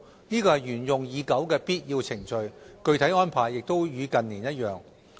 這是沿用已久的必要程序，具體安排亦與近年一樣。